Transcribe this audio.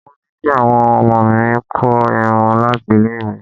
Wọ́n ní kí àwọn ọmọ mi kó irun láti ilé ìwé.